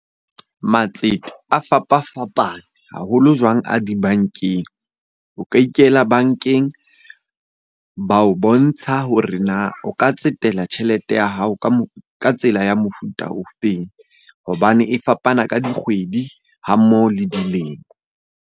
Matsete a fapafapane haholo jwang a dibankeng. O ka ikela bankeng ba o bontsha hore na o ka tsetela tjhelete ya hao ka tsela ya mofuta o feng hobane e fapana ka dikgwedi ha mmoho le dilemo.